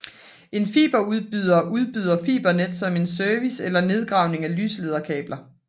En fiberudbyder udbyder fibernet som en service eller nedgravning af lyslederkabler